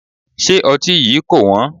Ṣé ọtí yí kò wón?